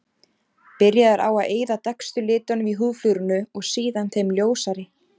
Byrjað er á að eyða dekkstu litunum í húðflúrinu og síðan þeim ljósari.